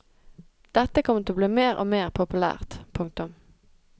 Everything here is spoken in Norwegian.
Dette kommer til å bli mer og mer populært. punktum